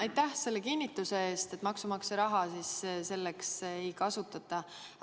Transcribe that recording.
Aitäh selle kinnituse eest, et maksumaksja raha selleks ei kasutata!